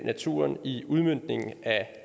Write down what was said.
naturen i udmøntningen af